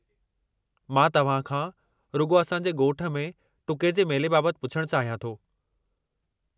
मां तव्हां खां रुॻो असां जे ॻोठ में टुके जे मेले बाबतु पुछणु चाहियां थो।